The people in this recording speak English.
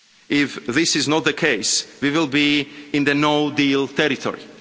this House. If this is not the case, we will be in the no deal'